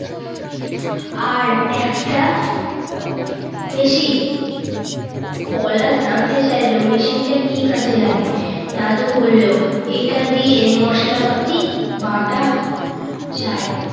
আর এক টা মেশিন। পলা জানতে চাইল মেশিনটা কি কাজে লাগে। দাদু বলল, এটা দিয়ে মশলাপাতি বাটা যায়।